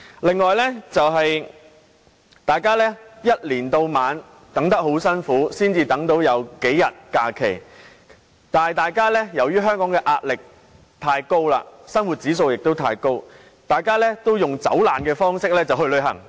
此外，大家由年頭到年尾苦苦等待，才有數天假期，但由於香港的壓力和生活指數太高，大家均以"走難"方式去旅行。